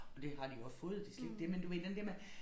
Og det har de også fået det slet ikke det men du ved den der med